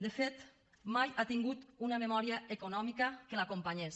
de fet mai ha tingut una memòria econòmica que l’acompanyés